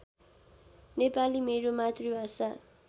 नेपाली मेरो मातृभाषा